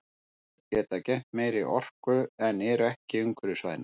Þær geta geymt meiri orku en eru ekki umhverfisvænar.